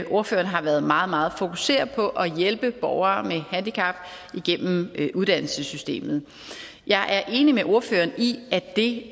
ordføreren har været meget meget fokuseret på at hjælpe borgere med handicap igennem uddannelsessystemet jeg er enig med ordføreren i at det